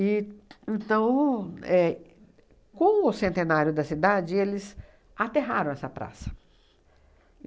éh com o centenário da cidade, eles aterraram essa praça.